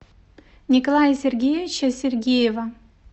николая сергеевича сергеева